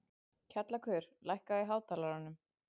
Kjallakur, lækkaðu í hátalaranum.